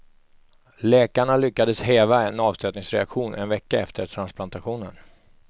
Läkarna lyckades häva en avstötningsreaktion en vecka efter transplantationen.